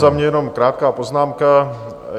Za mě jenom krátká poznámka.